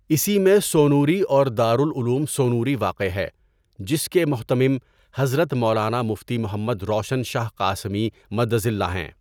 اسی میں سونوری اور دار العلوم سونوری واقع ہے جس کے مهتمم حضرت مولانا مفتى محمد روشن شاه قاسمى مدظله هیں.